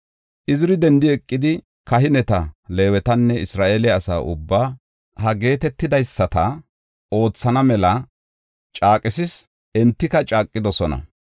Iziri dendi eqidi, kahineta, Leewetanne Isra7eele asaa ubbaa ha geetetidaysata oothana mela caaqisis; entika caaqidosona.